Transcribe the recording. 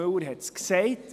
Müller hat es gesagt: